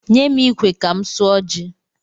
Nye m ikwe ka m suọ ji!